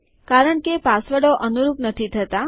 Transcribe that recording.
કારણ કે પાસવર્ડો અનુરૂપ નથી થતા